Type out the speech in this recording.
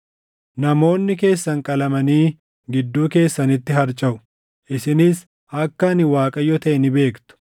Namoonni keessan qalamanii gidduu keessanitti harcaʼu; isinis akka ani Waaqayyo taʼe ni beektu.